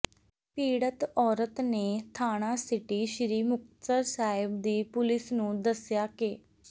ਪੀੜਤ ਔਰਤ ਨੇ ਥਾਣਾ ਸਿਟੀ ਸ੍ਰੀ ਮੁਕਤਸਰ ਸਾਹਿਬ ਦੀ ਪੁਲਿਸ ਨੂੰ ਦੱਸਿਆ ਕ